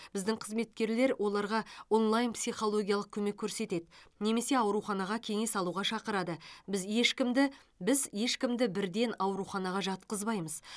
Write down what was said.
біздің қызметкерлер оларға онлайн психологиялық көмек көрсетеді немесе ауруханаға кеңес алуға шақырады біз ешкімді біз ешкімді бірден ауруханаға жатқызбаймыз